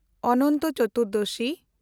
Anant Chaturdashi